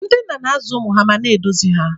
Ndị nna na-azụ ụmụ ha ma na-eduzi ha.